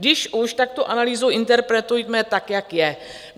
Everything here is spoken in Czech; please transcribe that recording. Když už, tak tu analýzu interpretujme tak, jak je.